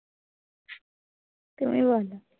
তুমি বোলো?